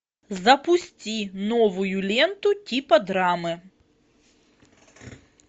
запусти новую ленту типа драмы